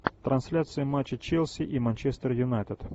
трансляция матча челси и манчестер юнайтед